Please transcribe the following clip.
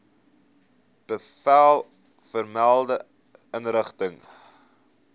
bevel vermelde inrigting